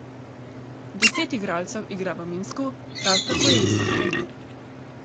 Deset igralcev igra v Minsku, prav tako je isti trener.